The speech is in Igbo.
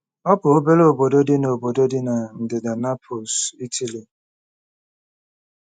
Ọ bụ obere obodo dị na obodo dị na ndịda Naples, Ịtali.